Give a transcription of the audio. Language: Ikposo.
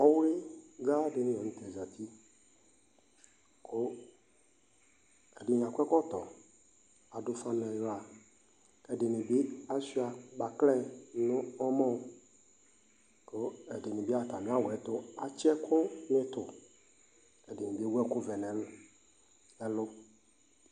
Ɔwligadini la nu tɛ azati ɛdini akɔ ɛkɔtɔ adu ufa niɣla ashua kpaklɛ nu ɔmɔ nu iɣla ku ɛdini bi atamiawu yɛtu atsi ɛkuɛditu ɛdini ewu ɛku vɛ nu ɛlu